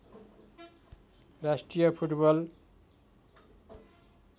राष्ट्रिय फुटबल